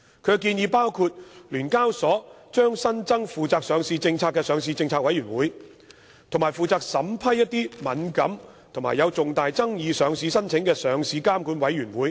建議包括，聯交所將新增負責上市政策的上市政策委員會，以及負責審批敏感或有重大爭議的上市申請的上市監管委員會。